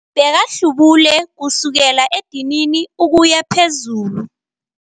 Bekahlubule kusukela edinini ukuya phezulu.